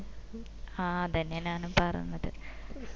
ആ അതെന്നാ ഞാനും പറഞ്ഞത്